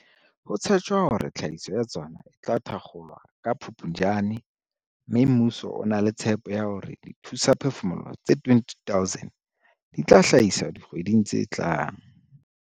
Ho tshetjwa hore tlhahiso ya tsona e tla thakgolwa ka Phuptjane mme mmuso o na le tshepo ya hore dithusaphefumoloho tse 20 000 di tla hlahiswa dikgweding tse tlang.